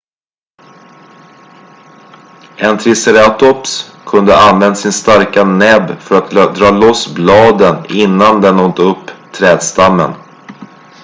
en triceratops kunde ha använt sin starka näbb för att dra loss bladen innan den åt upp trädstammen